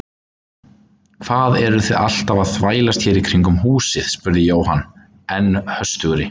Hvað eruð þið alltaf að þvælast hér í kringum húsið? spurði Jóhann enn höstugri.